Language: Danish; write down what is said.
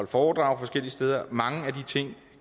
foredrag forskellige steder